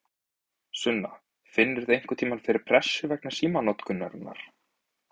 Sunna: Finnurðu einhverntímann fyrir pressu vegna símanotkunarinnar?